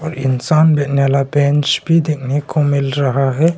इंसान बैठने वाला बेंच भी देखने को मिल रहा है।